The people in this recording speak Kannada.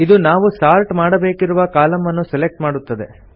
ಇದು ನಾವು ಸಾರ್ಟ್ ಮಾಡಬೇಕಿರುವ ಕಾಲಂ ಅನ್ನು ಸೆಲೆಕ್ಟ್ ಮಾಡುತ್ತದೆ